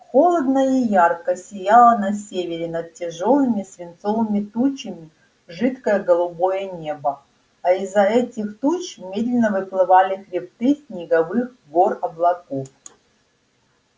холодно и ярко сияло на севере над тяжёлыми свинцовыми тучами жидкое голубое небо а из-за этих туч медленно выплывали хребты снеговых гор-облаков